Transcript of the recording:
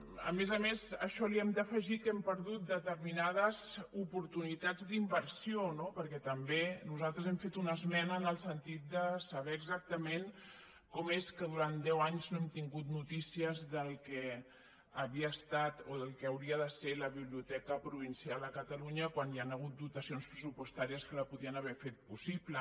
a més a més a això hi hem d’afegir que hem perdut determinades oportunitats d’inversió no perquè també nosaltres hem fet una esmena en el sentit de saber exactament com és que durant deu anys no hem tingut notícies del que havia estat o del que hauria de ser la biblioteca provincial a catalunya quan hi han hagut dotacions pressupostàries que la podien haver fet possible